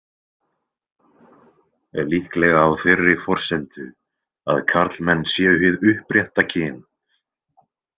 Líklega á þeirri forsendu að karlmenn séu hið upprétta kyn.